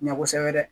Ɲɛ kosɛbɛ dɛ